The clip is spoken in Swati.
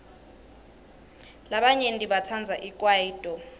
labanyenti batsandza ikwayito